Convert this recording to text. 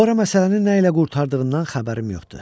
Sonra məsələnin nə ilə qurtardığından xəbərim yoxdur.